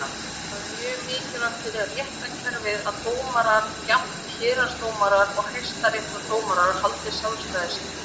Það er mjög mikilvægt fyrir réttarkerfið að dómarar, jafnt héraðsdómarar og Hæstaréttardómarar, haldi sjálfstæði sínu.